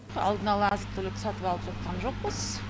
алдын ала азық түлік сатып алып жатқан жоқпыз